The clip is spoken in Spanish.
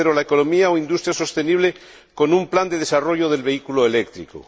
tercera, la economía o industria sostenible con un plan de desarrollo del vehículo eléctrico